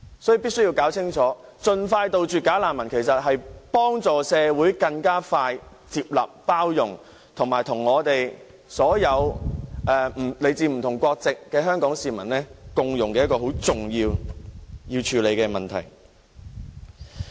所以，大家必須明白，盡快杜絕"假難民"其實是幫助社會更快地接納、包容少數族裔人士，以及令他們能與所有來自不同國家的香港市民共融。這是一個很重要而須處理的議題。